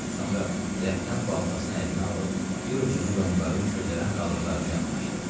Sonra rəfdən baltasını əlinə alıb, bir ucunu yonqarın közərən qalıqlarına yaxınlaşdırdı.